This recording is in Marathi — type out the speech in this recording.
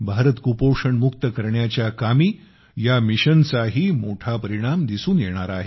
भारत कुपोषणमुक्त करण्याच्या कामी या मिशनचाही मोठा परिणाम दिसून येणार आहे